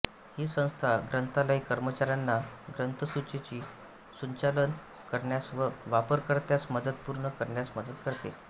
ही संस्था ग्रंथालय कर्मचाऱ्यांना ग्रंथसूचीचे सुचालन करण्यास व वापरकर्त्यास मदतपूर्ण करण्यास मदत करते